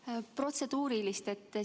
Tahan teha protseduurilise märkuse.